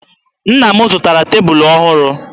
Nna m zụtara tebulu ọhụrụ.